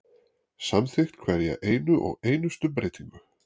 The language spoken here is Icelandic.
Samþykkt hverja eina og einustu breytingu.